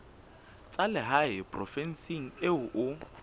tsa lehae provinseng eo o